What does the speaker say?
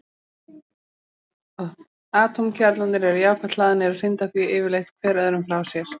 Atómkjarnarnir eru jákvætt hlaðnir og hrinda því yfirleitt hver öðrum frá sér.